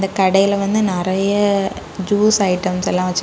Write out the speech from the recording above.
கடைல வந்து நறைய ஜூஸ் ஐட்டம்ஸ் எல்லாம் வெச்சுருக்.